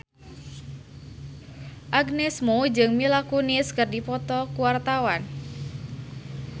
Agnes Mo jeung Mila Kunis keur dipoto ku wartawan